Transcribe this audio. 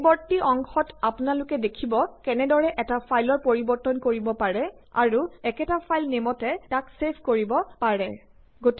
পৰৱৰ্তি অংশত আপোনালোকে দেখিব কেনেদৰে এটা ফাইলৰ পৰিবৰ্তন কৰিব পাৰি আৰু একেটা ফাইল নেইমতে তাক ছেভ কৰিব পাৰি